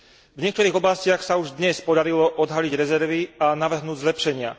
V niektorých oblastiach sa už dnes podarilo odhaliť rezervy a navrhnúť zlepšenia.